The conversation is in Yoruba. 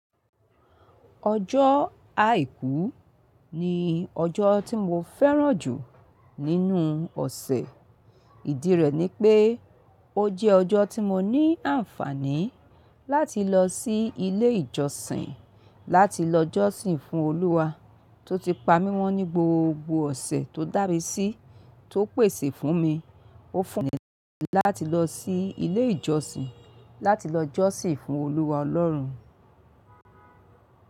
Ọjọ́ Àìkú ni ọjọ́ tí mo fẹ́ràn jù nínú ọ̀sẹ̀. Ìdí rẹ̀ ni pé ó jẹ́ ọjọ́ tí mo ní àǹfààní láti lọ sí ilé ìjọsìn láti lọ jọ́sìn fún Olúwa tó ti pa mí mọ́ ní gbogbo ọ̀sẹ̀ tó dàmí sí tó pèsè fún mi. Ó fún mi láti lọ sí ilé ìjọsìn láti lọ jọ́sìn fún Olúwa Ọlọ́run.